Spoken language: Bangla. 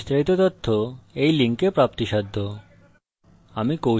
এই বিষয়ে বিস্তারিত তথ্য এই link প্রাপ্তিসাধ্য http:// spokentutorial org/nmeictintro